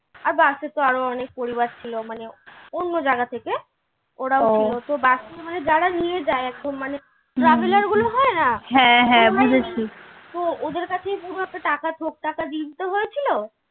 আর bus এ তো আরো অনেক পরিবার ছিল মানে অন্য জাগা থেকে ওরাও ছিল বাসে করে যারা নিয়ে যায় একদম মানে traveller গুলো হয় না তো ওদের কাছেই পুরো একটা টাকা দিয়ে দিতে হয়েছিল